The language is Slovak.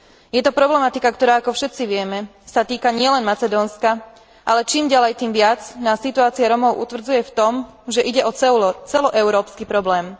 Je to problematika, ktorá, ako všetci vieme, sa týka nielen Macedónska, ale čím ďalej, tým viac, nás situácia Rómov utvrdzuje v tom, že ide o celoeurópsky problém.